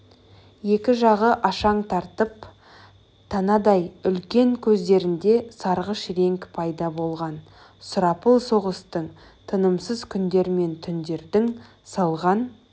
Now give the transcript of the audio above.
екі жағы ашаң тартып танадай үлкен көздерінде сарғыш реңк пайда болған сұрапыл соғыстың тынымсыз күндер мен түндердің салған